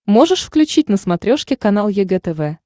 можешь включить на смотрешке канал егэ тв